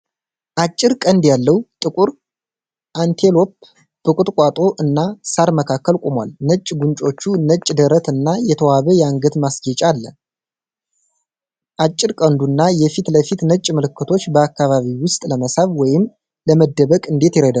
አጭር ቀንድ ያለው ጥቁር አንቴሎፕ በቁጥቋጦ እና ሣር መካከል ቆሟል። ነጭ ጉንጮች፣ ነጭ ደረት እና የተዋበ የአንገት ማስጌጫ አለ። ጭር ቀንዱ እና የፊት ለፊት ነጭ ምልክቶች በአካባቢው ውስጥ ለመሳብ ወይም ለመደበቅ እንዴት ይረዳሉ?